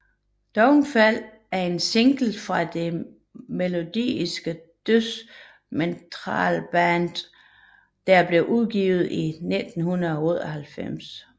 Downfall er en single fra det melodiske dødsmetalband Children of Bodom der blev udgivet i 1998